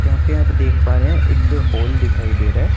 या पे आप देख पा रहे हे एक होल दिखाई दे रहे हैं।